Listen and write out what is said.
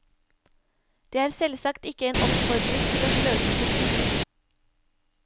Det er selvsagt ikke en oppfordring til å sløse bort penger.